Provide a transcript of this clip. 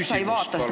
... et sa ei vaata.